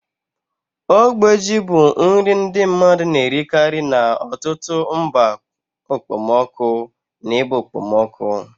Ogbe ji bụ nri ndi mmadu na-erikari n'ọtụtụ mba okpomọkụ na ebe okpomọkụ.